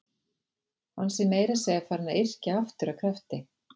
Hann sé meira að segja farinn að yrkja aftur af krafti.